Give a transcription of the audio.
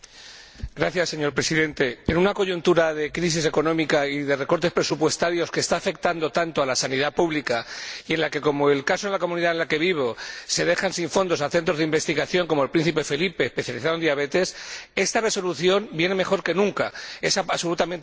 Señor Presidente, en una coyuntura de crisis económica y de recortes presupuestarios que está afectando tanto a la sanidad pública y en la que, como en el caso de la Comunidad Autónoma en la que vivo, se deja sin fondos a centros de investigación —como el Príncipe Felipe, especializado en diabetes—, esta resolución viene mejor que nunca, es absolutamente apropiada.